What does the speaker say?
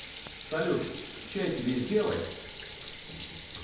салют чай тебе сделать